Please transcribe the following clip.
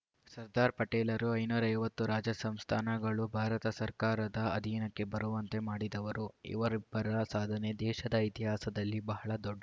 ಸರ್ದಾರ್‌ ಪಟೇಲರು ಐನೂರ ಐವತ್ತು ರಾಜ ಸಂಸ್ಥಾನಗಳು ಭಾರತ ಸರ್ಕಾರದ ಅಧೀನಕ್ಕೆ ಬರುವಂತೆ ಮಾಡಿದವರು ಇವರಿಬ್ಬರ ಸಾಧನೆ ದೇಶದ ಇತಿಹಾಸದಲ್ಲಿ ಬಹಳ ದೊಡ್ಡದು